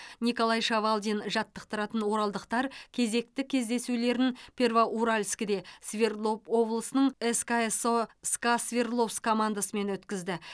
николай шавалдин жаттықтыратын оралдықтар кезекті кездесулерін первоуральскіде свердлов облысының сксо ска свердловск командасымен өткізді